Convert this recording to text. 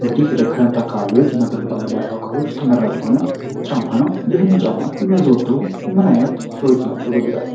እንግዲህ ለክረምት አካባቢዎች እና ብርድ ባለባቸው አካባቢዎች ተመራጭ የሆነ ጫማ ነው ይህንን ጫማ የሚያዘወትሩ ምን ዓይነት ሰዎች ናቸው በብዛት?